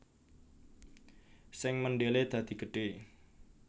Sing mendele dadi gedhe